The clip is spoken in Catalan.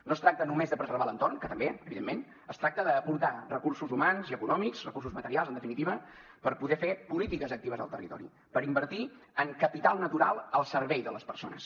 no es tracta només de preservar l’entorn que també evidentment es tracta d’aportar recursos humans i econòmics recursos materials en definitiva per poder fer polítiques actives al territori per invertir en capital natural al servei de les persones